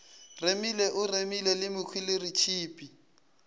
remile o remile le mehweleretshipi